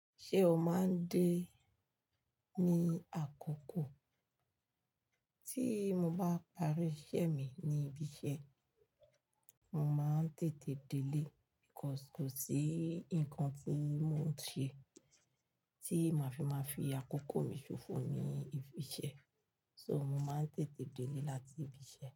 Ṣé o máa ń dé ní àkókò tí mo bá parí iṣẹ́ mi ní ibiṣẹ́? Mo máa ń tètè délé, nítorí kò sí nǹkan tí mo ń ṣe tí màá fi máa fi àkókò mi ṣòfò ní ibi iṣẹ́. So, mo máa ń tètè délé láti ibiṣẹ́